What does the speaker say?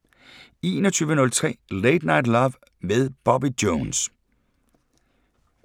21:03: Late Night Love med Bobby Jones